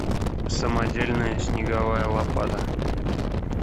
самодельная снеговая лопата